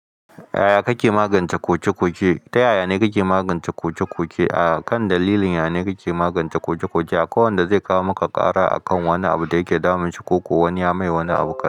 Yaya kake magance koke-koke? Ta yaya ne kake magance koke-koke? A kan dalilin yane kake magance koke-koke? Akwai wanda zai kawo maka ƙara a kan wani abu da yake damun shi ko kuwa wani ya mai wani abu ka.